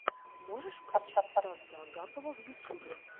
можешь включить стаса агапова в ютюбе